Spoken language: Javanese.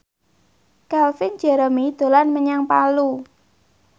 Calvin Jeremy dolan menyang Palu